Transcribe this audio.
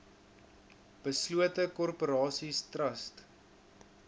beslote korporasies trust